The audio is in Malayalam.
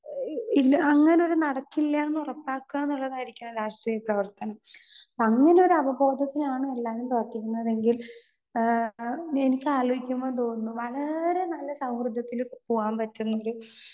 സ്പീക്കർ 2 ഇല്ല അങ്ങനെ ഒരു നടക്കില്ല എന്ന് ഉറപ്പാക്കാ എന്നുള്ളതായിരിക്കണം രാഷ്ട്രീയ പ്രവർത്തനം. അങ്ങനെ ഒരു അവബോധത്തിലാണ് എല്ലാവരും പ്രവർത്തിക്കുന്നത് എങ്കിൽ ആ എനിക്ക് ആലോചിക്കുമ്പോ തോന്നുന്നു വളരെ നല്ല സൗഹൃദത്തില് പോകാൻ പറ്റുന്ന ഒരു